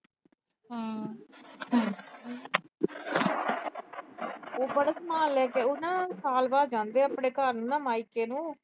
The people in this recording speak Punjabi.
ਉਹ ਬੜਾ ਸਮਾਨ ਲੈ ਕੇ ਉਹ ਨਾ ਸਾਲ ਬਾਅਦ ਜਾਂਦੇ ਆ ਆਪਣੇ ਘਰ ਨੂੰ, ਮਾਇਕੇ ਨੂੰ।